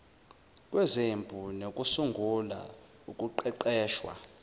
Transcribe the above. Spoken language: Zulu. kwezempi nokusungulwa ukuqeqeshwa